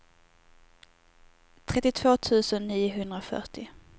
trettiotvå tusen niohundrafyrtio